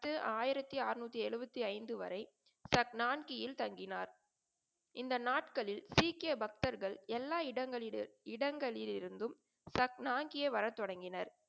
பத்து ஆயிரத்தி அறநூத்தி எழுபத்தி ஐந்து வரை சப்னாங்கியில் தங்கினார். இந்த நாட்களில் சீக்கிய பக்தர்கள் எல்லா இடங்களில், இடங்களிலிருந்தும் சப்னாங்கிய வர தொடங்கினர்.